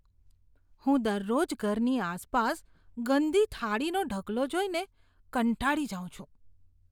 હું દરરોજ ઘરની આસપાસ ગંદી થાળીઓ ઢગલો જોઈને કંટાળી જાઉં છું.